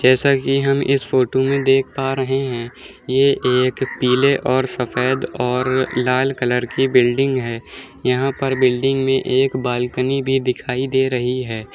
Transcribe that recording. जैसा की हम इस फ़ोटो में देख पा रहे हैं ये एक पीले और सफ़ेद और लाल कलर की बिल्डिंग है यहाँ पर बिल्डिंग में एक बालकनी भी दिखाई दे रही है।